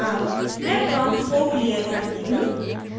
अब मैं prompt को clear करती हूँ